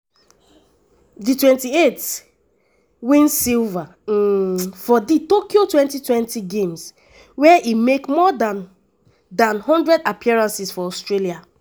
di 28-year-old um win silver um for di tokyo 2020 games wia e make more dan dan one hundred appearances for australia.